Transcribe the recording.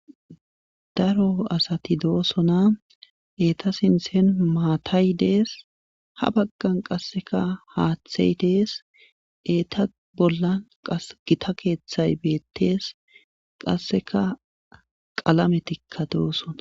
Daro asati doosona eeta sinthen maatay dees ha baggan qassikka haathey dees eeta bollan qassi gita keethay beettes qassikka qalametikka doosona.